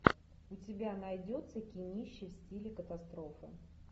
у тебя найдется кинище в стиле катастрофы